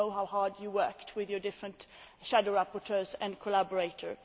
I know how hard you worked with your different shadow rapporteurs and collaborators.